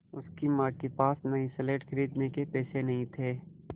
उसकी माँ के पास नई स्लेट खरीदने के पैसे नहीं थे